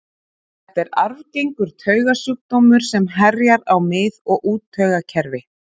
Þetta er arfgengur taugasjúkdómur sem herjar á mið- og úttaugakerfi.